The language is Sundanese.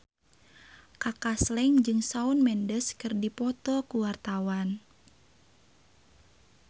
Kaka Slank jeung Shawn Mendes keur dipoto ku wartawan